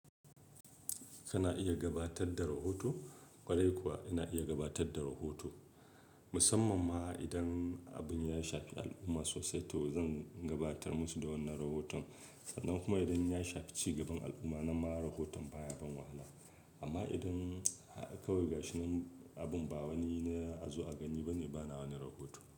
Kana iya gabatar da rahoto, kwarai kuwa ina iya gabatar da rahoto. Musamman ma idan abin ya shafi al'umma sosai to zan gabatar musu da wannan rahoton. Sannan kuma idan ya shafi ci gaban al'umma, nan ma rahoton baya ban wahala. Amma idan kawai gashinan abin ba wani yana azu a gani bane, bana wani rahoto.